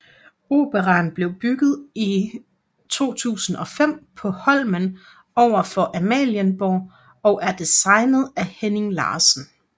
Operaen blev bygget i 2005 på Holmen over for Amalienborg og er designet af Henning Larsen